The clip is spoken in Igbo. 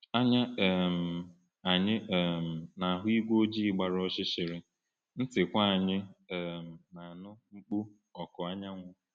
Anya um anyị um na-ahụ igwe ojii gbara ọchịchịrị, ntịkwa anyị um na-anụ mkpu ọkụ anyanwụ.